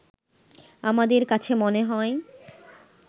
আমাদের কাছে মনে হয়